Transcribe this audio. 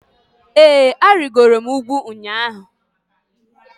ee, arịgoro m ugwu ụnyahụ